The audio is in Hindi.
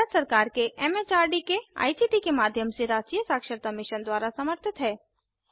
यह भारत सरकार के एमएचआरडी के आईसीटी के माध्यम से राष्ट्रीय साक्षरता मिशन द्वारा समर्थित है